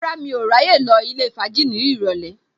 Rárá, mi ò ní ráyè lọ ilé fàájì ní ìrọ̀lẹ́